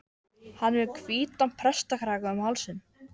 Björn úr forinni og að dyrum þinghúss en eigi inn.